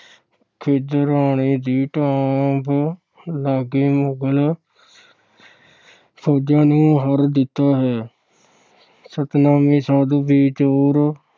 ਖਿਦਰਾਣੇ ਦੀ ਢਾਬ ਲਾਗੇ ਮੁਗਲ ਫੌਜਾਂ ਨੂੰ ਹਰਾ ਦਿੱਤਾ ਹੈ। ਸਤਨਾਮੀ ਸਾਧੂ ਵੀ ਜ਼ੋਰ